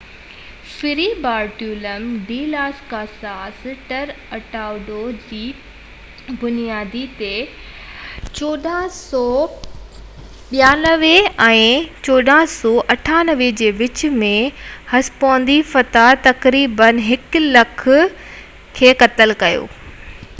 ferry Bartolome de las Casas Tratado de las Indias جي بنياد تي 1492 ۽ 1498 جي وچ ۾ هسپانوي فاتحن تقريبن 100،000 تينوس کي قتل ڪيو